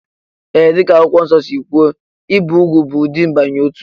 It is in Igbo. Ee, dị ka Akwụkwọ Nsọ si kwuo, ibi úgwù bụ ụdị mbanye n'otu